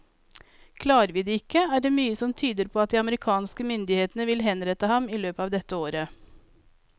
Klarer vi det ikke, er det mye som tyder på at de amerikanske myndighetene vil henrette ham i løpet av dette året.